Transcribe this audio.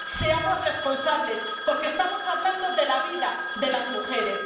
Seamos responsables, porque estamos hablando de la vida de las mujeres.